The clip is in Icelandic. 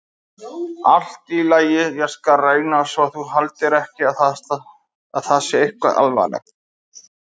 Allt í lagi, ég skal reyna svo þú haldir ekki að það sé eitthvað alvarlegt.